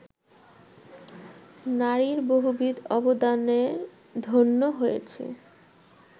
নারীর বহুবিধ অবদানে ধন্য হয়েছে